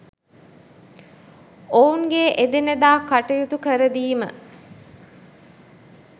ඔවුන්ගේ එදිනෙදා කටයුතු කරදීම